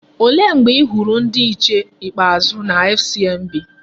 Olee mgbe i hụrụ ndị nche ikpeazụ na FCMB?